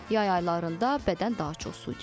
Yay aylarında bədən daha çox su itirir.